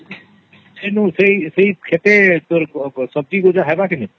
ସେ ଖେତେ ସବଜି ସବୁ ହେବ କି ନାଇଁ ?